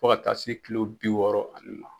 Fɔ ka taa se Kilo bi wɔɔrɔ ale ma.